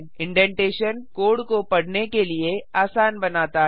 indentation code को पढ़ने के लिए आसान बनाता है